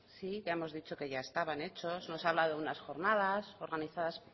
sí ya hemos dicho que ya estaban hechos nos ha hablado de unas jornadas organizadas